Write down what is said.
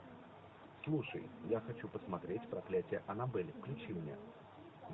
слушай я хочу посмотреть проклятие аннабель включи мне